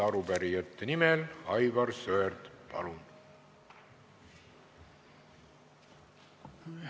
Arupärijate nimel Aivar Sõerd, palun!